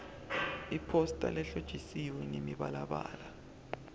iphosta lehlotjiswe ngemibalabala